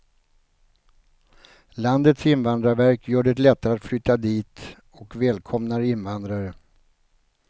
Landets invandrarverk gör det lättare att flytta dit och välkomnar invandrare.